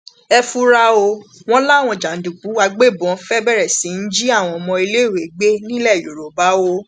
ẹ fura ọ wọn làwọn jàǹdùkú agbébọn fẹẹ bẹrẹ sí í jí àwọn ọmọléèwé gbé nílẹ yorùbá o